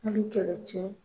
kɛlɛ cɛ